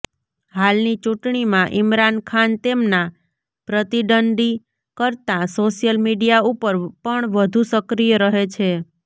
હાલની ચૂંટણીમાં ઈમરાન ખાન તેમના પ્રતિદ્વંદ્વી કરતાં સોશિયલ મીડિયા ઉપર પણ વધુ સક્રિય રહે છે